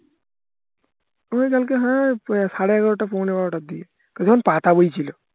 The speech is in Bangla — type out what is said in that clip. মনে হয় কালকে হ্যাঁ সাড়ে এগারোটা পোনে বারোটার দিকে তখন পাতা বইছিলো